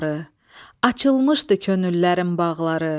Açılmışdı könüllərin bağları.